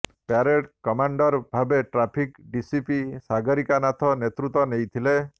parade commander ଭାବରେ traffic DCP Sagarika Nath ନେତୃତ୍ବ ନେଇଥିଲେ